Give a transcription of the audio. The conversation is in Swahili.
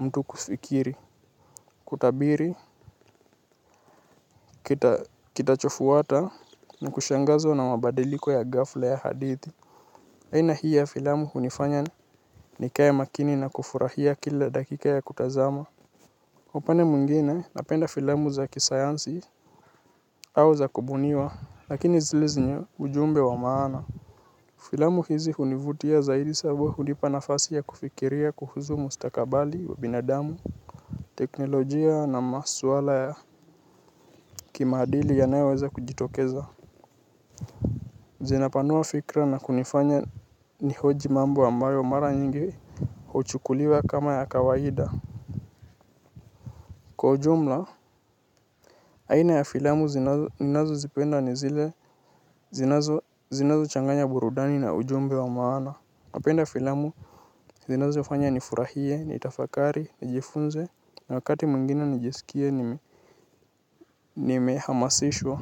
mtu kufikiri. Kutabiri Kitachofuata Na kushangazwa na mabadiliko ya ghafla ya hadithi. Aina hii ya filamu hunifanya ni kae makini na kufurahia kila dakika ya kutazama mfano mwingine napenda filamu za kisayansi au za kubuniwa. Lakini zile zina ujumbe wa maana. Filamu hizi hunivutia zaidi sabo hunipa nafasi ya kufikiria kuhusu mustakabali wa binadamu. Teknolojia na maswala ya kimaadili yanayoweza kujitokeza. Zinapanua fikra na kunifanya ni hoji mambo ambayo mara nyingi huchukuliwa kama ya kawaida. Kwa ujumla aina ya filamu ninazo zipenda ni zile zinazo changanya burudani na ujumbe wa maana. Napenda filamu zinazo fanya nifurahie, ni tafakari, ni jifunze na wakati mwingina nijiskie nime hamasishwa.